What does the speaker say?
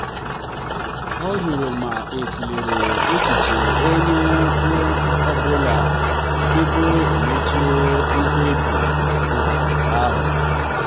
ọ jụrụ ma a tụlere echiche onye ọ bụla tupu emechaa mkpebi otu ahụ.